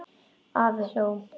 Afi hló.